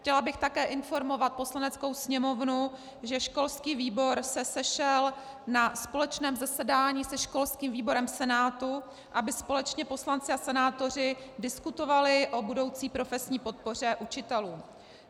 Chtěla bych také informovat Poslaneckou sněmovnu, že školský výbor se sešel na společném zasedání se školským výborem Senátu, aby společně poslanci a senátoři diskutovali o budoucí profesní podpoře učitelů.